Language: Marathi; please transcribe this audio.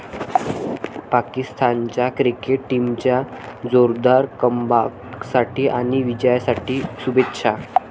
पाकिस्तानच्या क्रिकेट टीमच्या जोरदार कमबॅकसाठी आणि विजयासाठी शुभेच्छा.